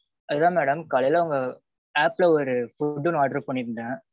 அதான் madam காலைல உங்க app ல ஒரு food ஒன்னு order பன்னீருந்தேன்